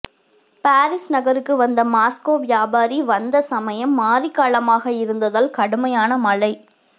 Paris நகருக்கு வந்த Moscow வியாபாரி வந்த சமயம் மாரிகாலமாக இருந்ததால் கடுமையான மழை